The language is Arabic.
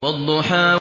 وَالضُّحَىٰ